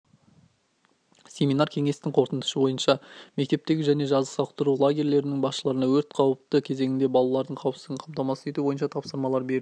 семинар кеңестің қорытындысы бойынша мектептегі және жазғы сауықтыру лагерьлерінің басшыларына өрт қауіпті кезеңінде балалардың қауіпсіздігін қамтамасыз ету бойынша тапсырмалалар берілді